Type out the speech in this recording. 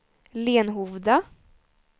Lenhovda